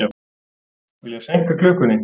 Vilja seinka klukkunni